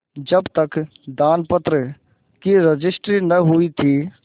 जब तक दानपत्र की रजिस्ट्री न हुई थी